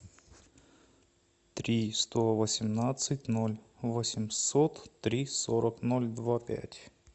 три сто восемнадцать ноль восемьсот три сорок ноль два пять